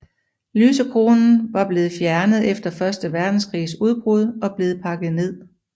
Lysekronen var blevet fjernet efter første verdenskrigs udbrud og blevet pakket ned